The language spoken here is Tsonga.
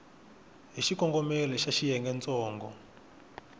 hi xikongomelo xa xiyenge ntsongo